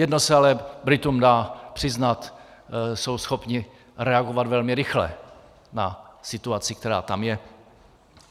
Jedno se ale Britům dá přiznat: Jsou schopni reagovat velmi rychle na situaci, která tam je.